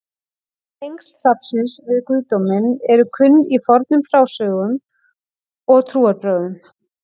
Tengsl hrafnsins við guðdóminn eru kunn í fornum frásögnum og trúarbrögðum.